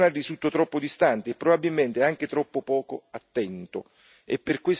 Il livello nazionale risulta troppo distante e probabilmente anche troppo poco attento